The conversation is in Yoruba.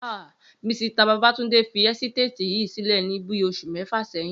ha! Misita Babátúndé fi ẹ́sítéètì yìí sílè ní bíí oṣù méfà sẹyìn